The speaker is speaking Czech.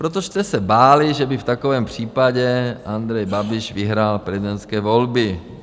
Protože jste se báli, že by v takovém případě Andrej Babiš vyhrál prezidentské volby.